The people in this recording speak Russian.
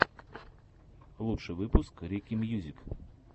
лучший выпуск рики мьюзик